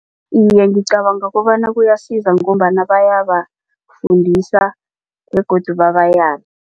Iye, ngicabanga kobana kuyasiza ngombana bayabafundisa begodu babayale.